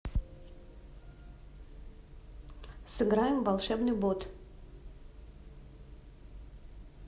сыграем в волшебный бот